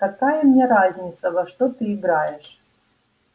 какая мне разница во что ты играешь